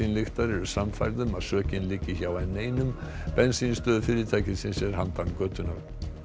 bensínlyktar eru sannfærð um að sökin liggi hjá n eins bensínstöð fyrirtækisins er handan götunnar